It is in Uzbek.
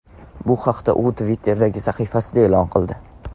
Bu haqda u Twitter’dagi sahifasida e’lon qildi .